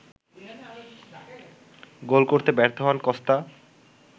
গোল করতে ব্যর্থ হন কস্তা